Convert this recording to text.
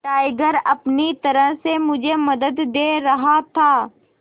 tiger अपनी तरह से मुझे मदद दे रहा था